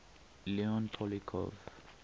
leon poliakov